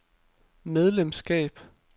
medlemskab